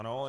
Ano.